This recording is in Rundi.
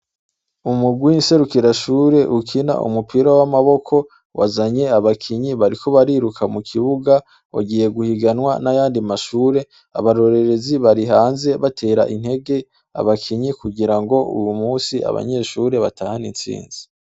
Umugwi nserukira shur' ukin' umupira w' amaboko wazany' abakinyi, bariko bariruka mu kibuga banonor'imitsi, ugiye guhiganwa n' ayandi mashure, abarorerezi barihanze bater' integ' abakinyi kugirang' uyumuns' abanyeshure batang' intsinzi.